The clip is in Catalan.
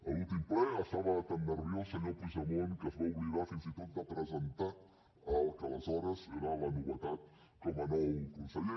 a l’últim ple estava tan nerviós senyor puigdemont que es va oblidar fins i tot de presentar el que aleshores era la novetat com a nou conseller